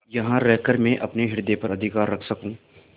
यहाँ रहकर मैं अपने हृदय पर अधिकार रख सकँू